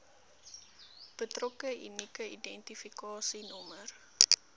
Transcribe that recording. betrokke unieke identifikasienommer